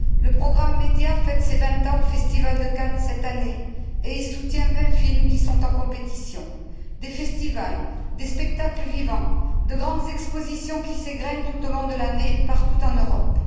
Le programme MEDIA fête ses vingt ans au Festival de Cannes cette année et soutient vingt films qui sont en compétition, des festivals, des spectacles vivants, de grandes expositions qui s'égrainent tout au long de l'année, partout en Europe.